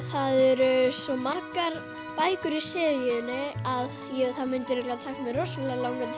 það eru svo margar bækur í seríunni að það myndi örugglega taka mig rosalega langan